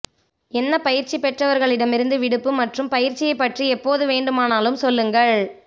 என்ன பயிற்சி பெற்றவர்களிடமிருந்து விடுப்பு மற்றும் பயிற்சியை பற்றி எப்போது வேண்டுமானாலும் சொல்லுங்கள்